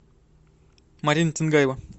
марина тингаева